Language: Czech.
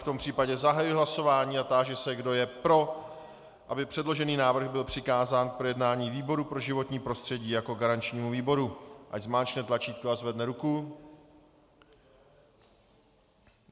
V tom případě zahajuji hlasování a táži se, kdo je pro, aby předložený návrh byl přikázán k projednání výboru pro životní prostředí jako garančnímu výboru, ať zmáčkne tlačítko a zvedne ruku.